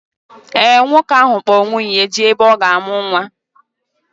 Ee, nwoke ahụ kpọ nwunye ya jee ebe ọ ga-amụ nnwa